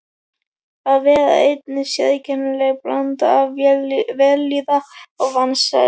Að vera einn er sérkennileg blanda af vellíðan og vansæld.